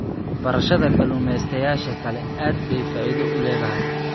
Barashada Kalumestayasha kale aad bay faa'iido u leedahay.